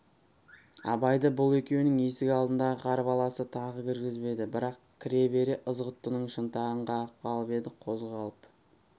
абайды бұл екеуінің есік алдындағы қарбаласы тағы кіргізбеді бірақ кіре-бере ызғұттының шынтағын қағып қалып еді қозғалып